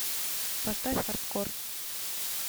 поставь хардкор